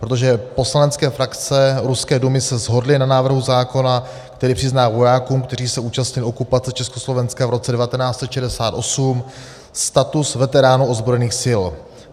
Protože poslanecké frakce ruské Dumy se shodly na návrhu zákona, který přizná vojákům, kteří se účastnili okupace Československa v roce 1968, status veteránů ozbrojených sil.